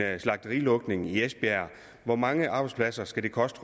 slagterilukning i esbjerg hvor mange arbejdspladser skal det koste